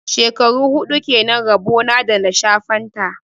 Shekaru hudu kenan rabo na da na sha fanta.